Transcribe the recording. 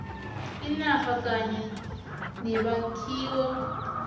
inarha kanye nemakhiwo